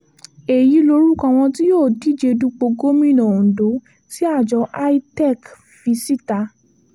èyí lorúkọ àwọn tí yóò díje dupò gómìnà ondo tí àjọ itec fi síta